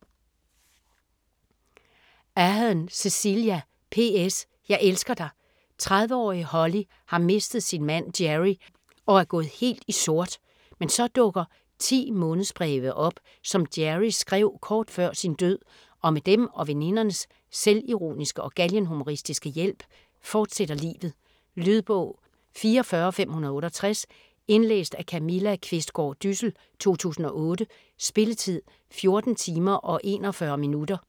Ahern, Cecelia: PS: Jeg elsker dig! 30-årige Holly har mistet sin mand Gerry og er gået helt i sort. Men så dukker 10 månedsbreve op, som Gerry skrev kort før sin død, og med dem og venindernes selvironiske og galgenhumoristiske hjælp fortsætter livet. Lydbog 44568 Indlæst af Camilla Qvistgaard Dyssel, 2008. Spilletid: 14 timer, 41 minutter.